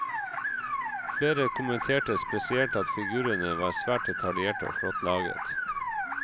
Flere kommenterte spesielt at figurene var svært detaljerte og flott laget.